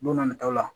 Don na nataw la